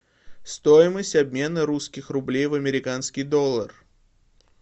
стоимость обмена русских рублей в американский доллар